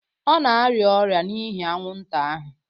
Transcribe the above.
Ọ na-arịa ọrịa n'ihi anwụnta ahụ